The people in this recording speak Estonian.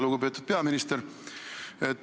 Lugupeetud peaminister!